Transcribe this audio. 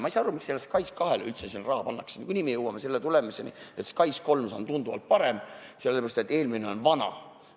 Ma ei sa aru, miks selle SKAIS2 jaoks üldse raha antakse, niikuinii me jõuame tulemusele, et SKAIS3 on tunduvalt parem, sellepärast et eelmine on vana.